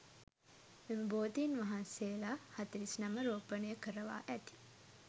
මෙම බෝධීන් වහන්සේලා, හතළිස් නම රෝපණය කරවා ඇති